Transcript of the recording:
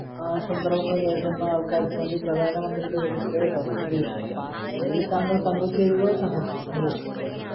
ഏർ സന്ദർഭങ്ങൾ നേരിടുന്ന ആൾക്കാർക്ക് വേണ്ടി പ്രധാന മന്ത്രിയുടെ ഒരു പ്രത്യേക പദ്ധതിയുണ്ട് അതിൽ താങ്കൾ പങ്കുചേരുക സമു സന്തോശിക്കാ